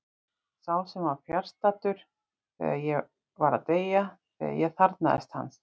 Sá sem var fjarstaddur þegar ég var að deyja, þegar ég þarfnaðist hans.